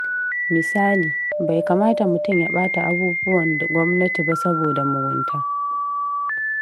Misali, bai kamata mutum ya ɓata abubuwan gwamnati ba saboda mugunta.